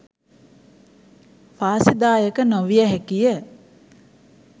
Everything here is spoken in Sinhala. වාසිදායක නොවිය හැකිය.